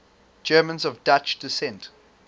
germans of dutch descent